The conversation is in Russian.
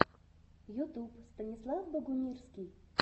ютуб станислав богумирский